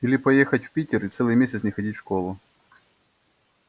или поехать в питер и целый месяц не ходить в школу